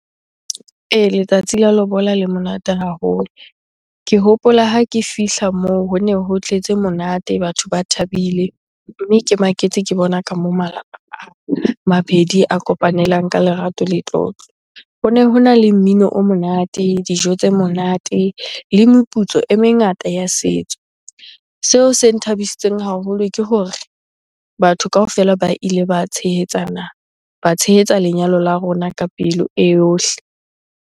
Ee, letsatsi la lobola le monate haholo. Ke hopola ha ke fihla moo hone ho tletse monate, batho ba thabile mme ke maketse ke bona ka moo malapa a mabedi a kopanelang ka lerato le tlotlo. Hone hona le mmino o monate, dijo tse monate le meputso e mengata ya setso. Seo se nthabisitseng haholo ke hore batho kaofela ba ile ba tshehetsana, ba tshehetsa lenyalo la rona ka pelo e yohle.